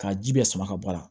Ka ji bɛɛ sama ka bɔ a la